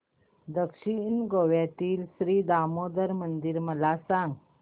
दक्षिण गोव्यातील श्री दामोदर मंदिर मला सांग